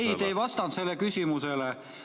Ei, te ei vastanud sellele küsimusele.